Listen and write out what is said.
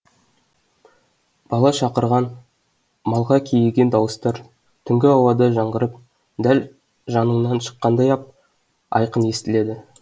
бала шақырған малға кейіген дауыстар түнгі ауада жаңғырып дәл жаныңнан шыққандай ап айқын естіледі